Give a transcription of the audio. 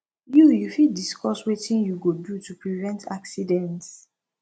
you you fit diescuss wetin you go do to prevent accidents